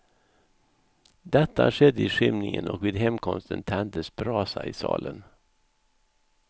Detta skedde i skymningen och vid hemkomsten tändes brasa i salen.